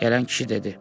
Gələn kişi dedi.